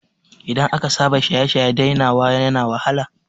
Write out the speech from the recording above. Idan aka saba shaye-shaye dainawa yana wahala